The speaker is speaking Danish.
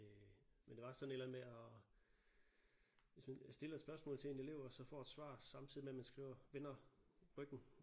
Øh men det var sådan et eller andet med og hvis man stiller et spørgsmål til en elev og så får et svar samtidigt med at man skriver vender ryggen